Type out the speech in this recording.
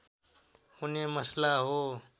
हुने मसला हो